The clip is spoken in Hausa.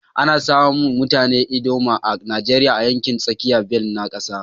Ana samun mutanen ldoma a Najeriya a yankin tsakiyar bel na kasan.